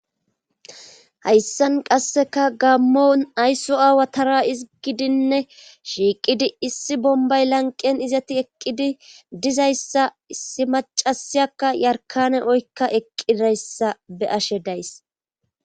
hayssan qasseka gammon ayso aawa tara izigidinne shiiqidi issi bombay lanqen izati eqqidi dizayssa issi macasiyakka yarkane oykka eqqidayssa be ashe days